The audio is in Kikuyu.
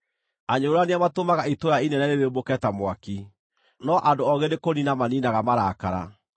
Anyũrũrania matũmaga itũũra inene rĩrĩmbũke ta mwaki, no andũ oogĩ nĩkũniina maniinaga marakara.